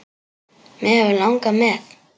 Mig hefði langað með.